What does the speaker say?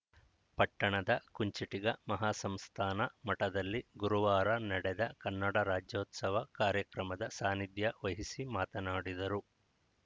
ಪಟ್ಟಣದ ಕುಂಚಿಟಿಗ ಮಹಾಸಂಸ್ಥಾನ ಮಠದಲ್ಲಿ ಗುರುವಾರ ನಡೆದ ಕನ್ನಡ ರಾಜ್ಯೊತ್ಸವ ಕಾರ್ಯಕ್ರಮದ ಸಾನಿಧ್ಯ ವಹಿಸಿ ಮಾತನಾಡಿದರು